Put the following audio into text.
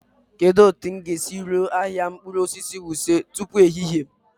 Kedu otu m ga-esi ruo ahịa mkpụrụ osisi Wuse tupu ehihie?